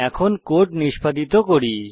এখন কোড নিষ্পাদিত করি